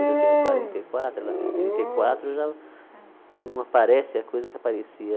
Hoje eu tenho quarenta e quatro, ela tem trinta e quatro, já não aparece a coisa que aparecia.